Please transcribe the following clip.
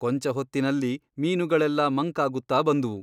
ಕೊಂಚ ಹೊತ್ತಿನಲ್ಲಿ ಮೀನುಗಳೆಲ್ಲಾ ಮಂಕಾಗುತ್ತ ಬಂದುವು.